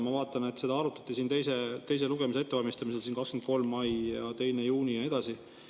Ma vaatan, seda arutati teise lugemise ettevalmistamisel 23. mail ja 2. juunil ja nii edasi.